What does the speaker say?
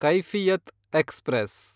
Kaifiyat express